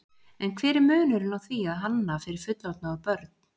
En hver er munurinn á því að hanna fyrir fullorðna og börn?